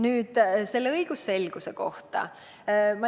Nüüd õigusselgusest.